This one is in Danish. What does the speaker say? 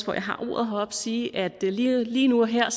hvor jeg har ordet sige at lige lige nu og her